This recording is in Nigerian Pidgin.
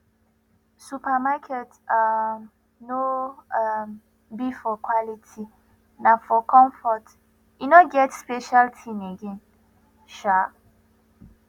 supermarket um no um be for quality na comfort e no get special thing again um